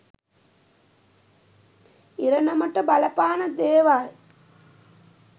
ඉරණමට බලපාන දේවල්.